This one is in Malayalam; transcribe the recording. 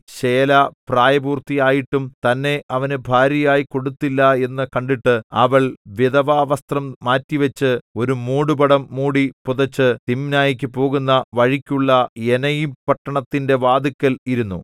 ശേലാ പ്രായപൂർത്തിയായിട്ടും തന്നെ അവന് ഭാര്യയായി കൊടുത്തില്ല എന്നു കണ്ടിട്ട് അവൾ വിധവാവസ്ത്രം മാറ്റിവച്ച് ഒരു മൂടുപടം മൂടി പുതച്ച് തിമ്നായ്ക്കു പോകുന്ന വഴിക്കുള്ള എനയീംപട്ടണത്തിന്റെ വാതിൽക്കൽ ഇരുന്നു